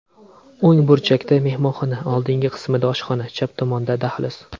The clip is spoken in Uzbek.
O‘ng burchakda mehmonxona, oldingi qismida oshxona, chap tomonda dahliz.